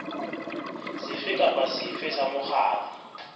sefe kapa sefe sa mokgatlo